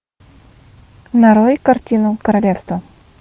нарой картину королевство